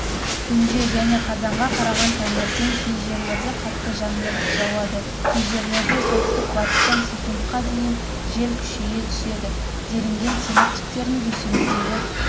түнде және қазанға қараған таңертең кей жерлерде қатты жаңбыр жауады кей жерлерде солтүстік-батыстан с-қа дейін жел күшейе түседі делінген синоптиктердің дүйсенбідегі